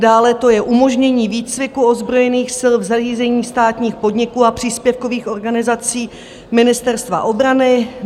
Dále to je umožnění výcviku ozbrojených sil v zařízeních státních podniků a příspěvkových organizací Ministerstva obrany.